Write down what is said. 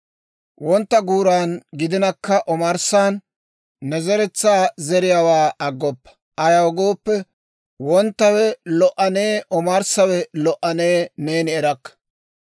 Wontta guuran gidinakka omarssan, ne zeretsaa zeriyaawaa aggoppa; ayaw gooppe, wonttawe lo"anee omarssawe lo"anee neeni erakka.